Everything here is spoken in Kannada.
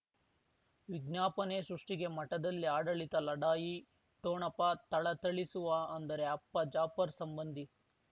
ವಿಜ್ಞಾಪನೆ ಸೃಷ್ಟಿಗೆ ಮಠದಲ್ಲಿ ಆಡಳಿತ ಲಢಾಯಿ ಠೋಣಪ ಥಳಥಳಿಸುವ ಅಂದರೆ ಅಪ್ಪ ಜಾಫರ್ ಸಂಬಂಧಿ